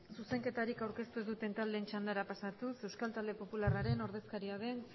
zuzenketarik aurkeztu ez duten taldeen txandara pasatuz euskal talde popularraren ordezkaria den